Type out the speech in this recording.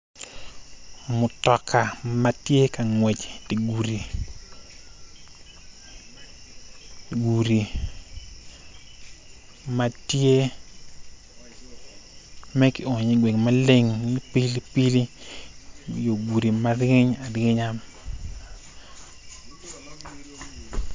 Mutoka ma tye ka ngwec i dye gudi gudi ma tye ma kionyo iye gweng maleng ni pilipili yo gudi ma ryeny aryenya.